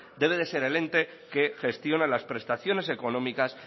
debe de ser el ente que gestiona las prestaciones económicas